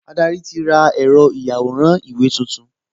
Adarí ti ra ẹ̀rọ ìyàwòrán-ìwé tuntun